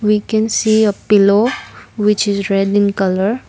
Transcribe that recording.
we can see a pillow which is red in colour.